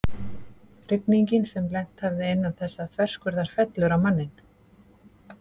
Rigningin sem hefði lent innan þessa þverskurðar fellur á manninn.